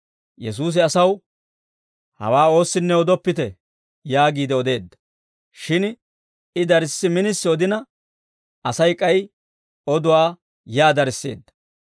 Yesuusi asaw, «Hawaa oossinne odoppite» yaagiide odeedda; shin I darssi minisi odina, Asay k'ay oduwaa yaa darisseedda.